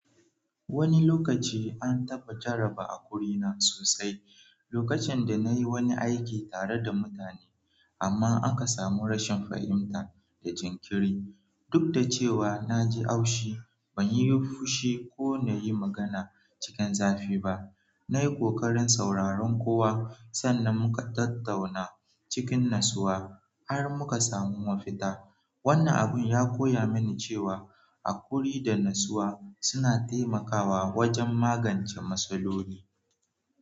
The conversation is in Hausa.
Wani lokaci an taba jaraba a kurina sosai, lokacin da nayi wani aiki tare da mutane amma aka samu rashin fahimta da jinkiri. Duk da cewa na ji haushi, ban yi fushi ko na yi magana cikin zafi ba. Na yi kokarin sauraron kowa sannan muka tattauna cikin natsuwa har muka samu mafita. Wannan abun ya koya mini cewa haƙuri da natsuwa suna taimakawa wajen magance matsaloli.